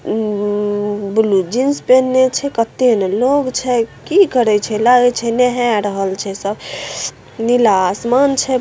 उम्म blue jeans पेहेने छै कतएले लोग छै की करए छै लगे छै नहाए रहल छै सब नीला आसमान छै।